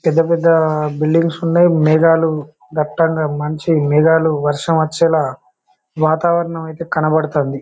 పెద్ద పెద్ద బిల్డింగ్స్ ఉన్నాయి. మేఘాలు దట్టంగా మంచి మేఘాలు వర్షం వచ్చేలా వాతావరణం అయితే కనపడుతుంది.